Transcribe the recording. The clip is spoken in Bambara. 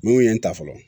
Mun ye n ta fɔlɔ